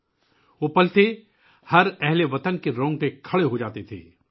یہ وہ لمحات تھے ، جب ہر ملک کے باشندے کو خوشی محسوس ہوتی تھی